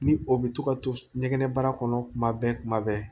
Ni o bɛ to ka to ɲɛgɛnɛ baara kɔnɔ tuma bɛɛ kuma bɛɛ